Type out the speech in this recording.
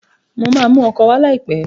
Mo máa mọ ọkọ̀ wà láìpẹ́.